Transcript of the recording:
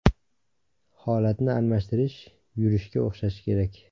Holatni almashtirish yurishga o‘xshashi kerak.